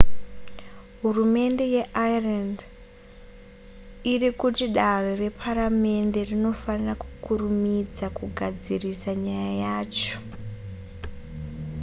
hurumende yeireland iri kuti dare reparamende rinofanira kukurumidza kugadzirisa nyaya yacho